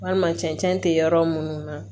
Walima cɛncɛn te yɔrɔ munnu na